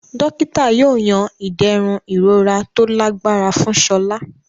Dókítà yóò yan iderun ìrora tó lágbára fún Sola.